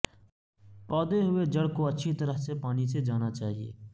پودے ہوئے جڑ کو اچھی طرح سے پانی سے جانا چاہئے